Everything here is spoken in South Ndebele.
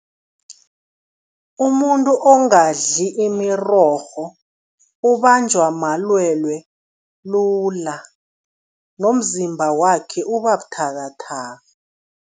Umuntu ongadli imirorho ubanjwa malwelwe lula nomzimba wakhe uba buthakathaka.